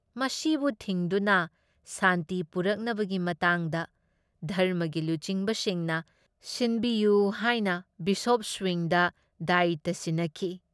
ꯃꯁꯤꯕꯨ ꯊꯤꯡꯗꯨꯅ ꯁꯥꯟꯇꯤ ꯄꯨꯔꯛꯅꯕꯒꯤ ꯃꯇꯥꯡꯗ ꯙꯔꯝꯃꯒꯤ ꯂꯨꯆꯤꯡꯕꯁꯤꯡꯅ ꯁꯤꯟꯕꯤꯌꯨ ꯍꯥꯏꯅ ꯕꯤꯁꯣꯞ ꯁ꯭ꯋꯤꯡꯗ ꯗꯥꯌꯤꯇ꯭ꯌ ꯁꯤꯟꯅꯈꯤ ꯫